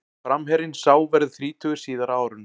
Framherjinn sá verður þrítugur síðar á árinu.